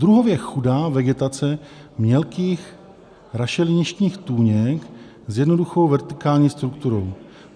Druhově chudá vegetace mělkých rašeliništních tůněk s jednoduchou vertikální strukturou.